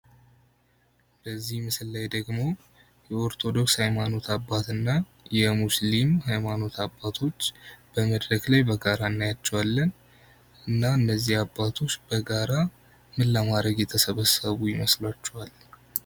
በዚህ ምስል ላይ ደግሞ የኦርቶዶክስ ሃይማኖት አባትና የሙስሊም የሃይማኖት አባቶች በመድረክ ላይ በጋራ እናያቸዋለን። እና እነዚህ አባቶች በጋራ ምን ለማድረግ የተሰበሰቡ ይመስላችኋል?